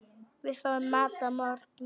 Við fáum mat að morgni.